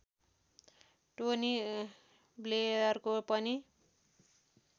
Tony ब्लेयरको पनि